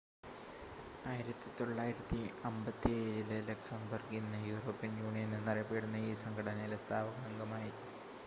1957-ൽ Luxembourg ഇന്ന് European Union എന്നറിയപ്പെടുന്ന ഈ സംഘടനയിലെ സ്ഥാപക അംഗമായി